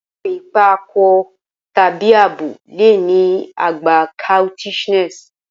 Awọn ipa akọ tabi abo le ni agba coquettishness